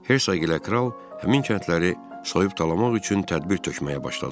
Herzoq ilə kral həmin kəndləri soyub talamak üçün tədbir tökməyə başladılar.